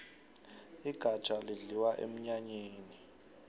igafjha lidliwa emnyanyeni